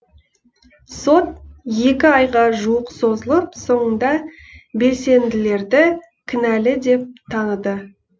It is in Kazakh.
сот екі айға жуық созылып соңында белсенділерді кінәлі деп таныды